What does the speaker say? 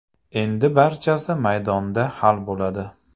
Endi barchasi maydonda hal bo‘ladi.